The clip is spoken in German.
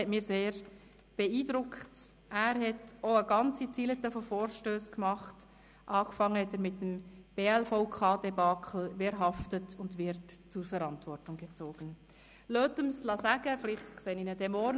Ich danke den Regierungsräten und Ihnen, liebe Grossrätinnen und Grossräte, für die grosse Arbeit vor und nach den Sessionen, für harte, aber faire Diskussionen und immer wieder für die gegenseitige menschliche Wertschätzung.